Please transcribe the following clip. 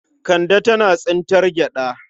Kande tana tsintar gyaɗa.